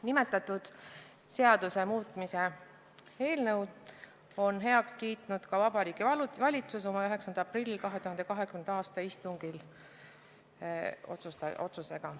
Nimetatud seaduse muutmise eelnõu on oma 2020. aasta 9. aprilli istungi otsusega heaks kiitnud ka Vabariigi Valitsus